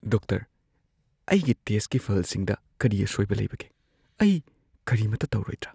Doctor, ꯑꯩꯒꯤ ꯇꯦꯁꯠꯀꯤ ꯐꯜꯁꯤꯡꯗ ꯀꯔꯤ ꯑꯁꯣꯏꯕ ꯂꯩꯕꯒꯦ? ꯑꯩ ꯀꯔꯤꯃꯠꯇ ꯇꯧꯔꯣꯏꯗ꯭ꯔꯥ?